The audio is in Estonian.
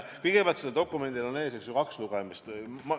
Kõigepealt, sellel dokumendil on kaks lugemist, eks ole.